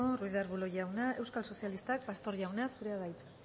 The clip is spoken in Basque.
ruiz de arbulo jauna euskal sozialistak pastor jauna zurea da hitza